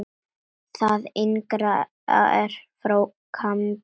Það yngra er frá Gambíu.